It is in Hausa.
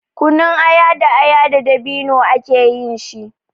Kunun aya da aya da dabino ake yin shi.